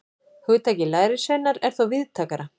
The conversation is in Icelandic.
Hugtakið lærisveinar er þó víðtækara.